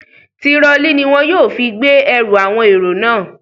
Tirọlí ní wọn yóò fi gbé ẹrù àwọn èrò náà.